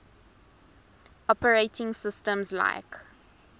operating systems like